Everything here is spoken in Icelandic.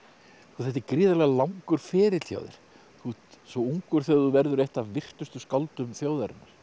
þetta er gríðarlega langur ferill hjá þér þú ert svo ungur þegar þú verður eitt af virtustu skáldum þjóðarinnar